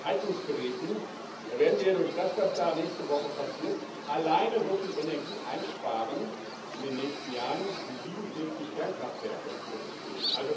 Bei Heizungsgeräten werden wir durch das, was da nächste Woche passiert, alleine so viel Energie in den nächsten Jahren einsparen, wie 47 Kernkraftwerke produzieren.